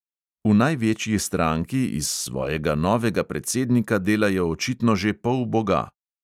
V največji stranki iz svojega novega predsednika delajo očitno že polboga!